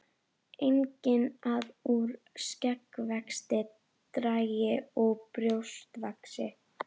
Einnig að úr skeggvexti dragi og brjóst vaxi.